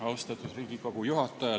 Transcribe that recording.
Austatud Riigikogu juhataja!